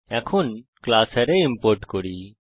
এখন class array import করি